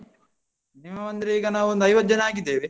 Minimum ಅಂದ್ರೆ ಈಗ ನಾವೊಂದು ಐವತ್ತ್ ಜನ ಆಗಿದ್ದೇವೆ.